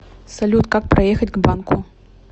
салют как проехать к банку